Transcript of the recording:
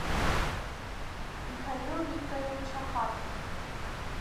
михаил викторович ахатов